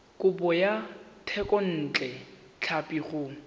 kopo ya thekontle tlhapi go